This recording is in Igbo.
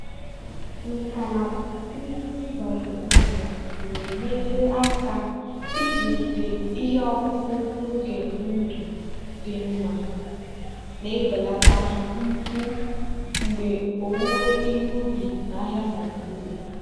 nkà na ụzụ biotechnology na-enyere aka ịzụlite ihe ọkụkụ n'oge ndụ dị mma na-ebelata mfu mgbe owuwe ihe ubi n'ahịa nigeria.